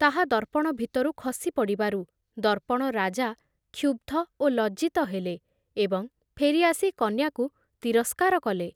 ତାହା ଦର୍ପଣ ଭିତରୁ ଖସି ପଡ଼ିବାରୁ ଦର୍ପଣ ରାଜା କ୍ଷୁବ୍‌ଧ ଓ ଲଜ୍ଜିତ ହେଲେ ଏବଂ ଫେରି ଆସି କନ୍ୟାକୁ ତିରସ୍କାର କଲେ ।